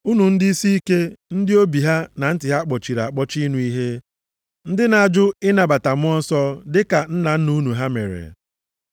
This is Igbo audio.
“Unu ndị isiike! Ndị obi ha, na ntị ha kpọchiri akpọchi ịnụ ihe. Ndị na-ajụ ịnabata Mmụọ Nsọ dịka nna nna unu ha mere.